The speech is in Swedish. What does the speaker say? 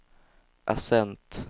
accent